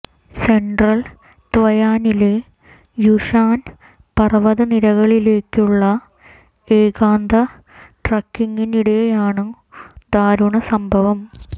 central തയ്വാനിലെ Yushan പർവത നിരകളിലേക്കുള്ള ഏകാന്ത ട്രക്കിങ്ങിനിടെയാണു ദാരുണ സംഭവം